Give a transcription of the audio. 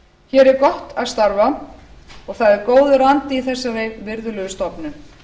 hér er gott að starfa og það er góður andi í þessari virðulegu stofnun